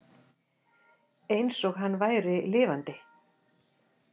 Eins og hann væri lifandi.